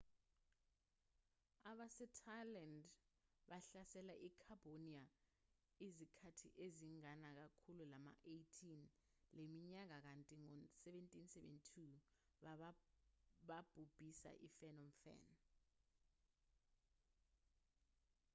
abasethailand bahlasele i-cambodia izikhathi eziningana ngekhulu lama-18 leminyaka kanti ngo-1772 babhubhisa i-phnom phen